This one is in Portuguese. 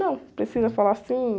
Não, precisa falar assim.